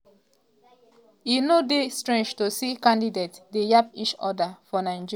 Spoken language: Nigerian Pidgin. e no dey strange to see candidates dey yab each oda for nigeria in di build up to election in oda to score points.